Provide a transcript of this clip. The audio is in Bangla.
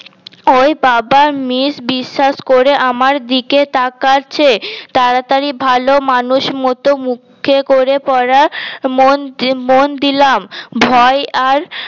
ওই বাবা বেশ বিশ্বাস করে আমার দিকে তাকাচ্ছে তাড়াতাড়ি ভাল মানুষ মতো মুখে করে পরা মন মন দিলাম ভয় আর